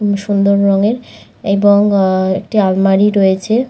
খুবই সুন্দর রংয়ের এবং আ একটি আলমারি রয়েছে।